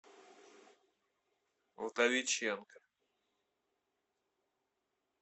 вдовиченко